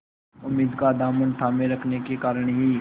उम्मीद का दामन थामे रखने के कारण ही